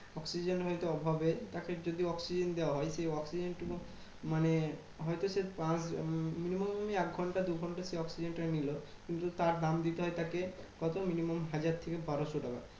Oxygen হয়তো অভাবে তাকে যদি oxygen দেওয়া হয় সেই oxygen টুকু মানে হয়তো সে পাঁচ উম minimum আমি এক ঘন্টা দু ঘন্টা সে oxygen টা নিলো। কিন্তু তার দাম দিতে হয় তাকে কত minimum হাজার থেকে বারোশো টাকা।